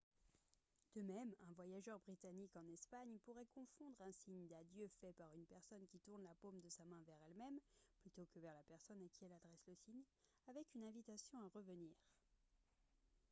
de même un voyageur britannique en espagne pourrait confondre un signe d'adieu fait par une personne qui tourne la paume de sa main vers elle-même plutôt que vers la personne à qui elle adresse le signe avec une invitation à revenir